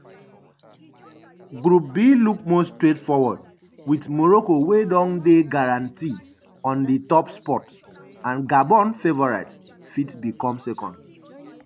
group b look more straightforward wit morocco wey don dey guarantee on di top spot and gabon favorites fit become second.